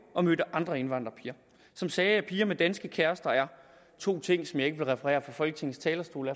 og mødte andre indvandrerpiger som sagde at piger med danske kærester er to ting som jeg ikke vil referere fra folketingets talerstol